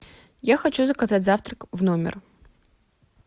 я хочу заказать завтрак в номер